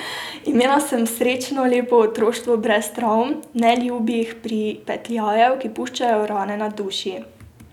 Imela sem srečno, lepo otroštvo brez travm, neljubih pripetljajev, ki puščajo rane na duši.